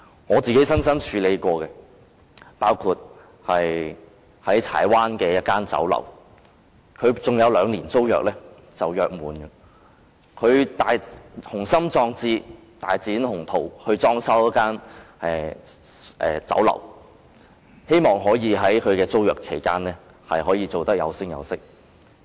我親自處理過的個案包括柴灣一間酒樓，酒樓尚有兩年租約才約滿，老闆雄心壯志，一心大展鴻圖，於是裝修酒樓，希望在租約期間把生意做得有聲有色。